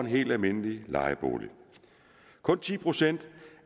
helt almindelig lejebolig kun ti procent